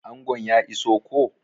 Angon ya iso koh?